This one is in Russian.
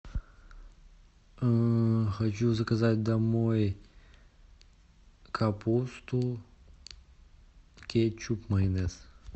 хочу заказать домой капусту кетчуп майонез